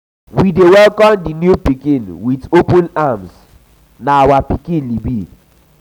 we dey welcome di new pikin wit open arms na our pikin.